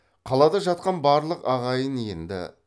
қалада жатқан барлық ағайын енді